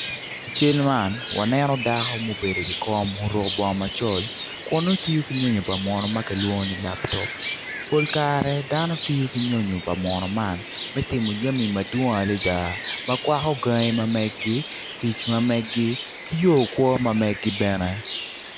I cal man waneno dako ma obedo iwi kom oruko baongo macol kun nongo tiyo ko nyonyo pa munu ma kilwongo ni laptop polkare dano tiyo ki nyo nyo pa munu man me timo jami madwong adada ma kwako gangi ma meg-gi tic ma meg-gi ki yor kwo ma meg-gi bene